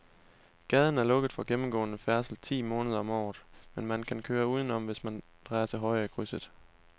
Gaden er lukket for gennemgående færdsel ti måneder om året, men man kan køre udenom, hvis man drejer til højre i krydset.